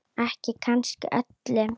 Ekki kannski öllu.